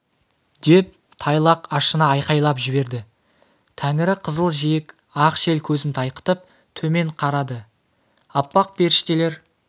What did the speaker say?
деп тайлақ ашына айқайлап жіберді тәңірі қызыл жиек ақ шел көзін тайқытып төмен қарады аппақ періштелер